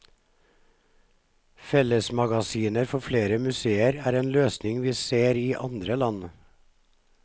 Fellesmagasiner for flere museer er en løsning vi ser i andre land.